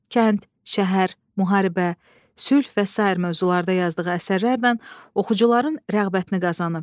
Kənd, şəhər, müharibə, sülh və sair mövzularda yazdığı əsərlərlə oxucuların rəğbətini qazanıb.